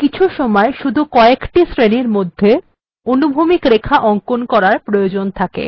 কিছুসময় শুধু কএকটি শ্রেনীর মধ্যে অনুভূমিক রেখা অঙ্কন করার প্রয়োজন থাকে